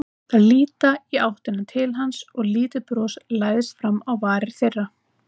Þær líta í áttina til hans og lítið bros læðist fram á varir þeirra.